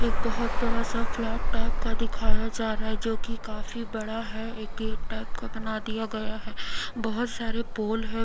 एक बहोत बड़ा सा फ्लैट टाइप का दिखाया जा रहा है जो की काफी बड़ा है एक गेट टाइप का बना दिया गया है बहोत सारे पोल है।